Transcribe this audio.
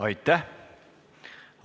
Aitäh!